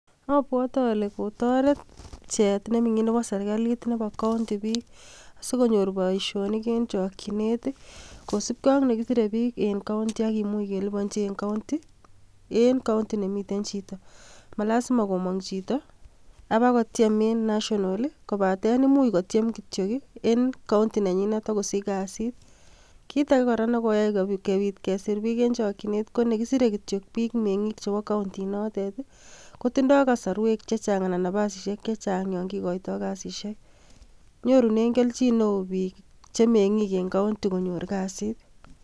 Obwote ole kotoret pcheet ne ming'in nebo serikalit nebo county biik sikonyor boishonik en chokinet. Kosibge ak nekisire biik en county ak kimuch kelibonji en county nemiten chito. Ma lazima komong chito abakotyem en national kobaten imuch kotyem kityog en county nenyinet agosich biik kasit. Kit age kora negoyai kobit kesir biik en chokinet ko ne kisire kityok biik meng'ing chebo county inotet kotindo kasarwek che chang anan nafasishek che chang yon kigoito kasishek. Nyorunen kelchin neo biik cheeng'ik en county konyor kasit.